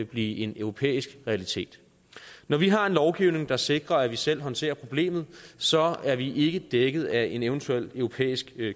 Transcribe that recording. blive en europæisk realitet når vi har en lovgivning der sikrer at vi selv håndterer problemet så er vi ikke dækket af en eventuel europæisk